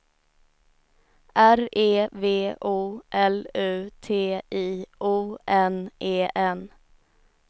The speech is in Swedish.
R E V O L U T I O N E N